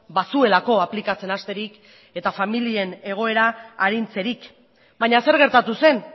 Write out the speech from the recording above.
bazuelako aplikatzen hasterik eta familien egoera arintzerik baina zer gertatu zen